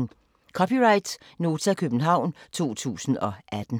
(c) Nota, København 2018